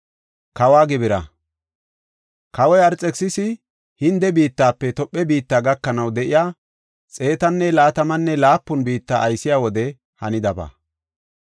Kawoy Arxekisisi Hinde biittafe Tophe biitta gakanaw de7iya, xeetanne laatamanne laapun biitta aysiya wode hanidaba.